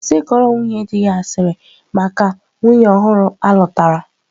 Kwụsị ịkọrọ nwunye di gị asịrị maka nwunye ọhụrụ alutara.